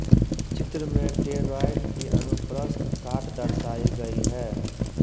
चित्र में टोरॉइड की अनुप्रस्थ काट दर्शाई गई है